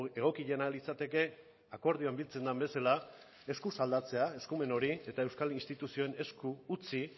egokiena litzateke akordioan biltzen den bezala eskuz aldatzea eskumen hori eta euskal instituzioen esku utzi